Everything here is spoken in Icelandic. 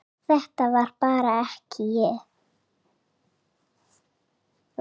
Þetta var bara ekki ég.